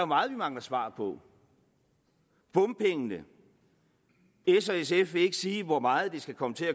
meget vi mangler svar på bompengene s og sf vil ikke sige hvor meget det skal komme til